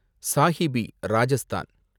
Sahibi, Rajasthan